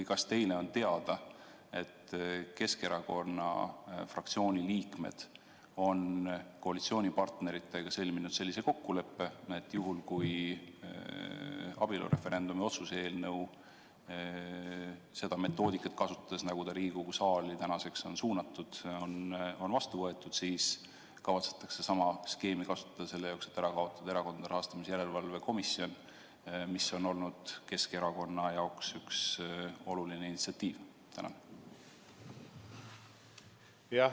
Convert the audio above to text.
Ja kas teile on teada, et Keskerakonna fraktsiooni liikmed on koalitsioonipartneritega sõlminud sellise kokkuleppe, et kui kasutatakse abielureferendumi otsuse eelnõu puhul seda metoodikat, nagu Riigikogu saali suunamise puhul on kasutatud, siis kavatsetakse sama skeemi kasutada selleks, et likvideerida Erakondade Rahastamise Järelevalve Komisjon, mis on olnud Keskerakonna jaoks üks oluline initsiatiiv?